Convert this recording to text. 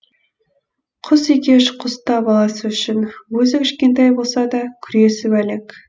құс екеш құс та баласы үшін өзі кішкентай болса да күресіп әлек